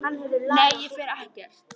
Nei, ég fer ekkert.